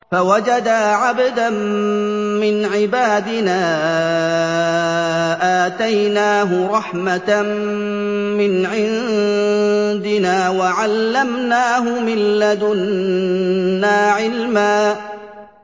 فَوَجَدَا عَبْدًا مِّنْ عِبَادِنَا آتَيْنَاهُ رَحْمَةً مِّنْ عِندِنَا وَعَلَّمْنَاهُ مِن لَّدُنَّا عِلْمًا